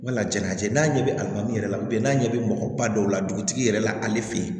Wala jaɲa cɛ n'a ɲɛ bɛ alimami yɛrɛ la n'a ɲɛ bɛ mɔgɔ ba dɔw la dugutigi yɛrɛ la ale fɛ yen